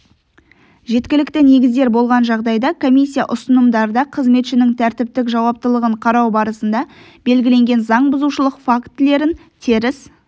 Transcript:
жеткілікті негіздер болған жағдайда комиссия ұсынымдарда қызметшінің тәртіптік жауаптылығын қарау барысында белгіленген заң бұзушылық фактілерін теріс